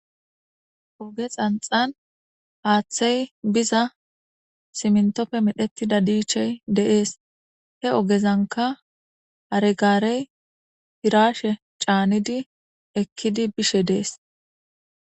oge xanxan aaththey biza simntoppe medhetida diichey deees he ogezanka aregaarey hirashe caanidi ekkidi bishe dees